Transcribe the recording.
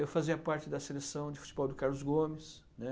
Eu fazia parte da seleção de futebol do Carlos Gomes, né?